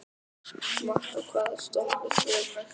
Matta, hvaða stoppistöð er næst mér?